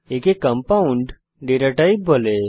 একে compound data type বলা হয়